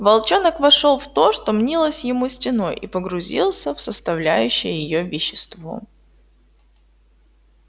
волчонок вошёл в то что мнилось ему стеной и погрузился в составляющее её вещество